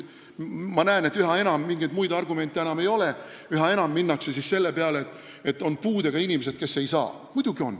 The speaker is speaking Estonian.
Ma näen, et üha enam ei ole mingeid muid argumente, üha enam minnakse selle peale, et on puudega inimesed, kes ei saa midagi teha.